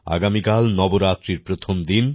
আগামীকাল নবরাত্রির প্রথম দিন